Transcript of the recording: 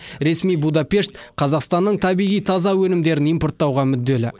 ресми будапешт қазақстанның табиғи таза өнімдерін импорттауға мүдделі